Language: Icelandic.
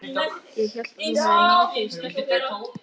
Ég hélt að þú hefðir náð þér í stelpu.